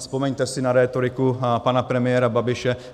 Vzpomeňte si na rétoriku pana premiéra Babiše.